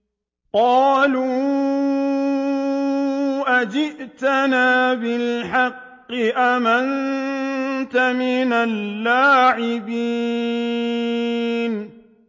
قَالُوا أَجِئْتَنَا بِالْحَقِّ أَمْ أَنتَ مِنَ اللَّاعِبِينَ